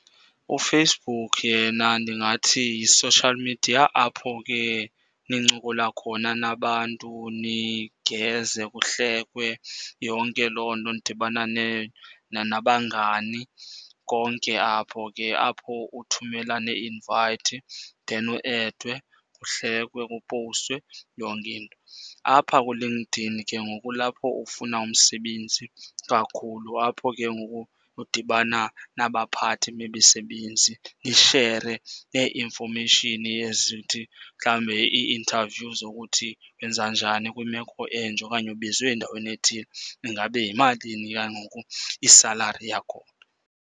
UFacebook yena ndingathi yi-social media apho ke nincokola khona nabantu nigeze, kuhlekwe, yonke loo nto. Nidibana nabangani konke apho ke. Apho uthumela neeinvayithi, then u-edwe, kuhlekwe, kupowustwe, yonke into. Apha kuLinkedIn ke ngoku kulapho ufuna umsebenzi kakhulu. Apho ke ngoku udibana nabaphathi bemisebenzi, nishere nee-information ezithi mhlawumbi, ii-interview zokuthi wenza njani kwimeko enje. Okanye ubizwe endaweni ethile, ingabe yimalini ke ngoku isalari yakhona?